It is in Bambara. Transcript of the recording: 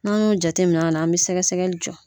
N'an y'o jateminɛ a na an bɛ sɛgɛsɛgɛli jɔ